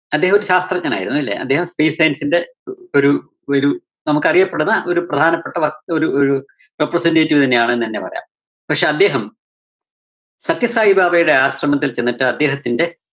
അദ്ദേഹം ഒരു ശാസ്ത്രഞ്ജനായിരുന്നു അല്ലേ? അദ്ദേഹം space science ന്റെ ഒരു ഒരു നമുക്കറിയപ്പെടുന്ന ഒരു പ്രധാനപ്പെട്ട വസ് ഒരു representative തന്നെയാണെന്ന് തന്നെ പറയാം. പക്ഷേ അദ്ദേഹം സത്യസായിബാബയുടെ ആശ്രമത്തില്‍ ചെന്നിട്ട് അദ്ദേഹത്തിന്റെ